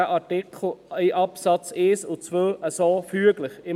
Dieser Artikel reicht mit den Absätzen 1 und 2 so füglich aus.